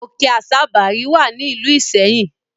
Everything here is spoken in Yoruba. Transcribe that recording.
Òkè Àsabàrí wà ní ìlú Ìṣẹ́yìn.